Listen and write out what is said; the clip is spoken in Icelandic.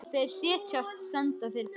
Þeir segjast senda þér bréfin.